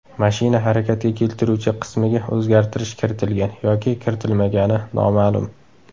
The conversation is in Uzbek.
Mashina harakatga keltiruvchi qismiga o‘zgartirish kiritilgan yoki kiritilmagani noma’lum.